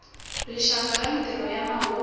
rixaka ya mintirho ya mahungu